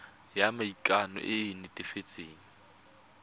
ya maikano e e netefatsang